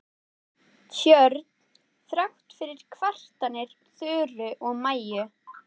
Tjörn þrátt fyrir kvartanir Þuru og Maju.